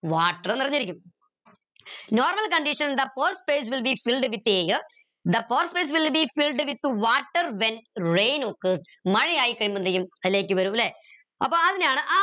water നിറഞ്ഞിരിക്കും normal condition എന്താ pore space will be filled with air the pore space will be filled with water when rain occurs മഴ ആയിക്കഴിയുമ്പോൾതേക്കും വരും ല്ലെ അപ്പൊ അതിനാണ്